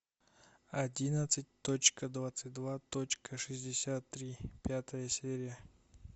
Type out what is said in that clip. одиннадцать точка двадцать два точка шестьдесят три пятая серия